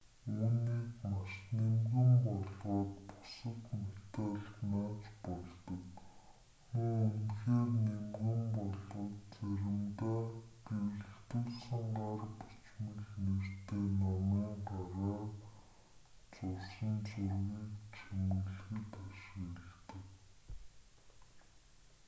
үүнийг маш нимгэн болгоод бусад металд нааж болдог мөн үнэхээр нимгэн болгож заримдаа гэрэлтүүлсэн гар бичмэл нэртэй номын гараар зурсан зургийг чимэглэхэд ашигладаг